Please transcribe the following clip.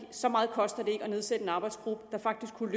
så meget koster det ikke at nedsætte en arbejdsgruppe der faktisk kunne